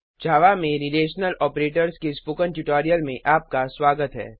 जावा में relational operators के spoken tutorial में आपका स्वागत है